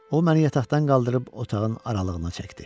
O məni yataqdan qaldırıb otağın aralığına çəkdi.